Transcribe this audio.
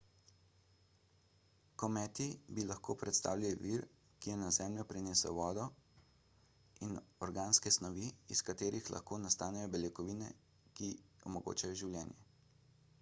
kometi bi lahko predstavljali vir ki je na zemljo prinesel vodo in organske snovi iz katerih lahko nastanejo beljakovine in ki omogočajo življenje